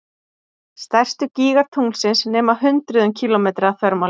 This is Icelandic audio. Stærstu gígar tunglsins nema hundruðum kílómetra að þvermáli.